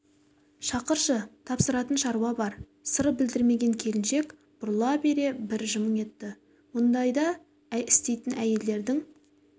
шақыршы тапсыратын шаруа бар сыр білдірмеген келіншек бұрыла бере бір жымың етті мұнда істейтін әйелдердің